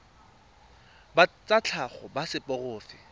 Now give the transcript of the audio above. ba tsa tlhago ba seporofe